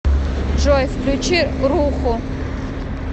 джой включи руху